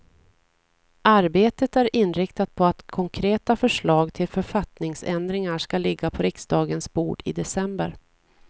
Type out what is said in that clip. Arbetet är inriktat på att konkreta förslag till författningsändringar ska ligga på riksdagens bord i december.